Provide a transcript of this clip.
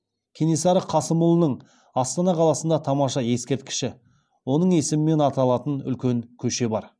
кенесары қасымұлының астана қаласында тамаша ескерткіші оның есімімен аталатын үлкен көше бар